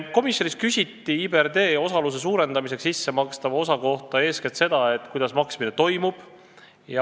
Komisjonis küsiti IBRD osaluse suurendamiseks sissemakstava osa kohta eeskätt seda, kuidas maksmine toimub.